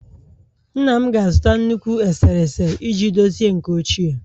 Nna m ga-azụta nnukwu eserese iji dochie nke ochie